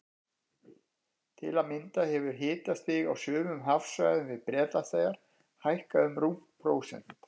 Til að mynda hefur hitastig á sumum hafsvæðum við Bretlandseyjar hækkað um rúmt prósent.